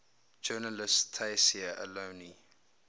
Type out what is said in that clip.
journalist tayseer allouni